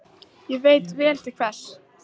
Og ég veit vel til hvers.